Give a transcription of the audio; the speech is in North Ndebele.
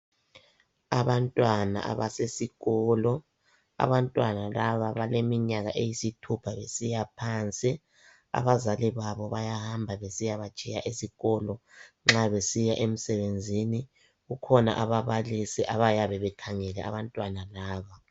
abantwana abasesikolo, abantwana laba baleminyaka eyisithupha kusiya phansi. Abazali babo bayahamba besiyabatshiya esikolo nxa besiya emsebenzini. Kukhona ababalisi abayabe bekhangele abantwana laba